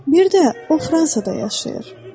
Bir də o Fransada yaşayır.